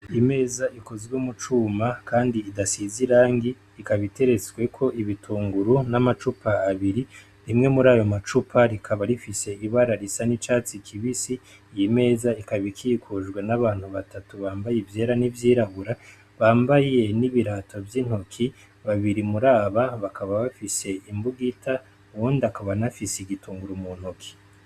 Imeza ikozwe mu cuma kandi idasinze irangi ikaba iteretsweko ibitunguru n'amacupa abiri, rimwe muri ayo macupa rikaba rifise ibara risa n'icatsi kibisi, iyi meza ikaba ikikujwe n'abantu batatu bambaye ivyera n'ivyirabura bambaye n'ibirato vy'intoki, babiri muri aba bakaba bafise imbugita uwundi akaba anafise igitunguru mu ntoki.